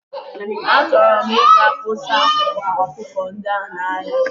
Achọrọ m ị ga kpọsa akwa akụkọ ndị a n'ahia.